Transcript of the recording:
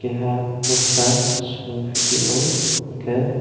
keha poster sung phi tio unkke.